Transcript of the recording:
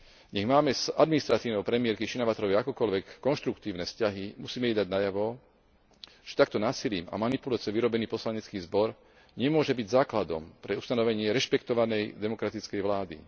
Nech máme s administratívou premiérky Shinawatraovej akokoľvek konštruktívne vzťahy, musíme jej dať najavo, že takto násilím a manipuláciou vyrobený poslanecký zbor nemôže byť základom pre ustanovenie rešpektovanej demokratickej vlády.